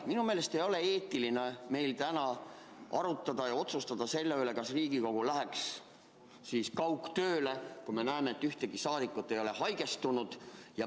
Minu meelest ei ole eetiline täna arutada ja otsustada selle üle, kas Riigikogu läheks kaugtööle, kui me näeksime, et ükski rahvasaadik ei ole haigestunud.